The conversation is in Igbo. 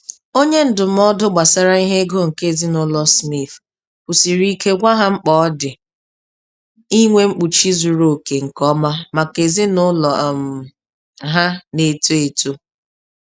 Onye ndụmọdụ gbasara ihe ego nke ezinụlọ Smith kwusiri ike gwa ha mkpa ọ dị inwe mkpuchi zuru oke nke ọma maka ezinụlọ um ha na-eto eto.